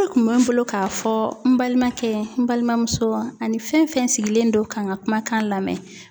kun bɛ n bolo k'a fɔ n balimakɛ n balimamuso ani fɛn fɛn sigilen do ka n ka kumakan lamɛn.